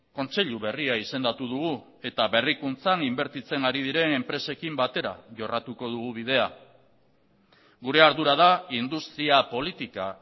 kontseilu berria izendatu dugu eta berrikuntzan inbertitzen ari diren enpresekin batera jorratuko dugu bidea gure ardura da industria politika